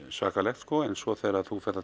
svakalegt en svo þegar þú ferð að